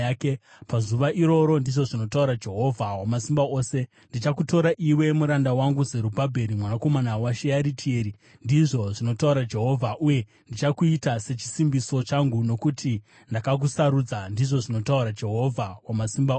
“ ‘Pazuva iroro,’ ndizvo zvinotaura Jehovha Wamasimba Ose, ‘ndichakutora iwe, muranda wangu, Zerubhabheri mwanakomana waShearitieri,’ ndizvo zvinotaura Jehovha, ‘uye ndichakuita sechisimbiso changu, nokuti ndakakusarudza,’ ndizvo zvinotaura Jehovha Wamasimba Ose.”